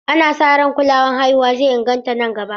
Ana sa ran kulawar haihuwa zai inganta nan gaba.